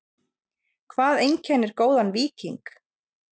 Hvað einkennir góðan víking?